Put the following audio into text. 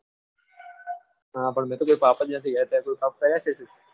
હા પણ મેં તો કોઈ પાપ જ નથી કર્યા તે કોઈ પાપ કર્યા છે.